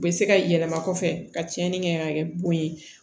U bɛ se ka yɛlɛma kɔfɛ ka tiɲɛni kɛ ka kɛ bon ye